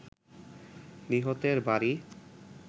নিহতের বাড়ি